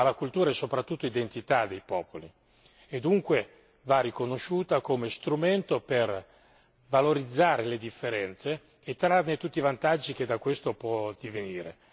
Ma la cultura è soprattutto identità dei popoli e dunque va riconosciuta come strumento per valorizzare le differenze e trarne tutti i vantaggi che da questo possono derivare.